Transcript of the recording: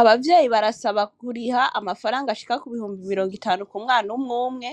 Abavyeyi barasaba kuriha amafaranga ashika ku bihumbi mirongo itanu ku mwana umwumwe